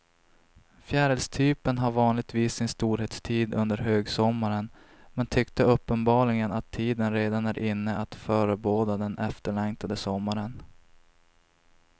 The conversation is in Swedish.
Fjärilstypen har vanligtvis sin storhetstid under högsommaren men tyckte uppenbarligen att tiden redan är inne att förebåda den efterlängtade sommaren.